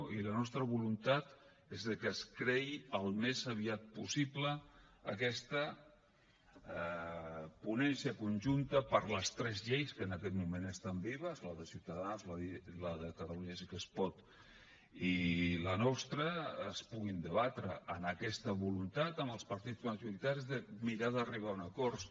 i la nostra voluntat és de que es creï al més aviat possible aquesta ponència conjunta per a les tres lleis que en aquest moment estan vives la de ciutadans la de catalunya sí que es pot i la nostra i es puguin debatre amb aquesta voluntat amb els partits majoritaris de mirar d’arribar a un acord